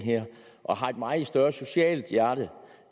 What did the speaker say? og har et meget større socialt hjerte